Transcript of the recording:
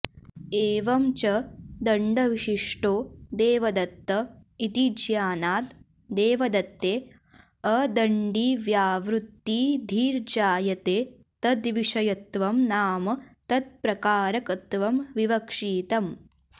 एवं च दण्डविशिष्टो देवदत्त इति ज्ञानात् देवदत्ते अदण्डिव्यावृत्तिधीर्जायते तद्विषयत्वं नाम तत्प्रकारकत्वं विवक्षितम्